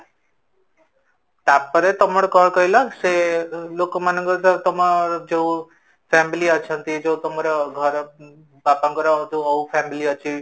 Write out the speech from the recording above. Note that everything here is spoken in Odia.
ତାପରେ ତମ କଣ କହିଲ ସେ ଲୋକ ମାନଙ୍କ ତମ ଯୋଉ family ଅଛନ୍ତି ଯୋଉ ତମର ଘର ବାପାଙ୍କର ଯୋଉ family ଅଛି